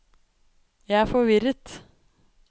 jeg er forvirret